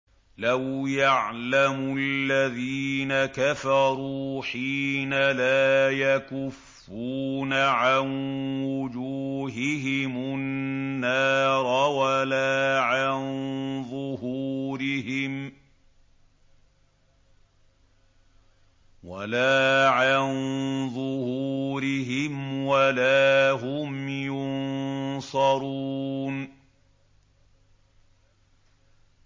لَوْ يَعْلَمُ الَّذِينَ كَفَرُوا حِينَ لَا يَكُفُّونَ عَن وُجُوهِهِمُ النَّارَ وَلَا عَن ظُهُورِهِمْ وَلَا هُمْ يُنصَرُونَ